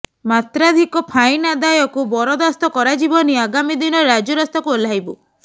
ମାତ୍ରାଧିକ ଫାଇନ୍ ଆଦାୟକୁ ବରଦାସ୍ତ କରାଯିବନି ଆଗାମୀ ଦିନରେ ରାଜରାସ୍ତାକୁ ଓହ୍ଲାଇବୁ